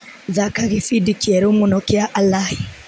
Thaka gĩbindi kĩerũ mũno kĩa Alaĩ.